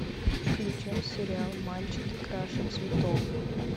включай сериал мальчики краше цветов